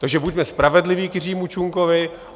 Takže buďme spravedliví k Jiřímu Čunkovi.